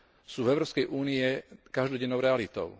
sú v Európskej únii každodennou realitou.